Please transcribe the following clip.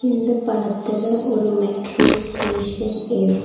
இந்த படத்துல ஒரு மெட்ரோ ஸ்டேஷன் இருக்--